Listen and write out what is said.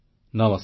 ନମସ୍କାର